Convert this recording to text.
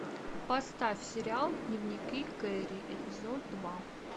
поставь сериал дневники кэрри эпизод два